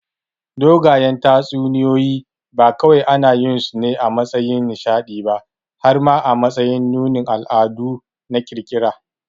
Dogayen tatsuniyoyi ba kawai anayinsu ne a matsayin nishaɗi ba har ma a matsayin nunin al'adu na ƙirƙira.